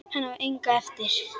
Hann á enga eftir.